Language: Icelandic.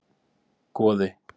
Goði